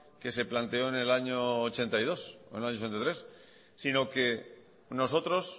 que se planteó en el año mil novecientos ochenta y dos o en el año mil novecientos ochenta y tres sino que nosotros